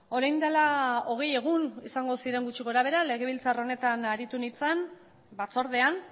orain dela hogei egun izango ziren gutxi gorabehera legebiltzar honetan aritu nintzen batzordean